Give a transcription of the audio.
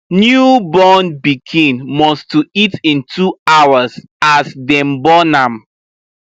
new born pikin must to eat in 2hrs as dem born am